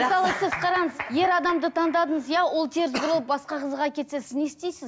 мысалы сіз қараңыз ер адамды таңдадыңыз иә ол теріс бұрылып басқа қызға кетсе сіз не істейсіз